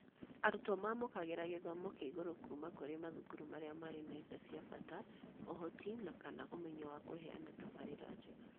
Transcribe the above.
Arutwo mamũkagĩra gĩthomo kĩa igũrũ kuuma kũrĩ mathukuru marĩa marĩ na indo cia bata, ũhoti na/kana ũmenyo wa kũheana tabarĩra njega.